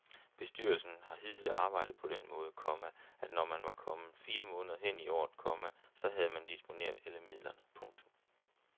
Bestyrelsen har hidtil arbejdet på den måde, komma at når man var kommet fire måneder hen i året, komma så havde man disponeret alle midlerne. punktum